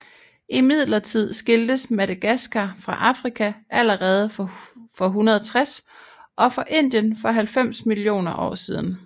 Imidlertid skiltes Madagaskar fra Afrika allerede for 160 og fra Indien for 90 millioner år siden